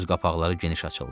Göz qapaqları geniş açıldı.